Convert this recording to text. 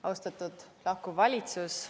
Austatud lahkuv valitsus!